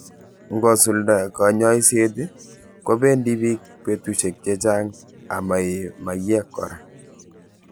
Ngo sulda kanyaiset i, kopendi piik petushiek che chang' ama ee maiyek kora.